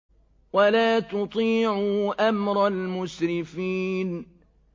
وَلَا تُطِيعُوا أَمْرَ الْمُسْرِفِينَ